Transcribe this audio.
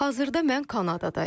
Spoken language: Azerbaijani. Hazırda mən Kanadadayam.